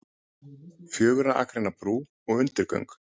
Fjögurra akreina brú og undirgöng